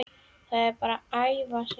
Það er bara að æfa sig.